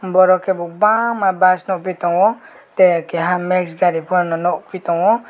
boro ke bo bangma bus nogoi tango tei keha max gari pano nogpi tangho.